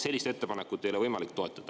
Sellist ettepanekut ei ole võimalik toetada.